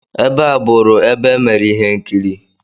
Ebe a bụụrụ ebe emere ihe nkiri.